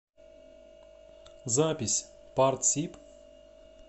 запись партсиб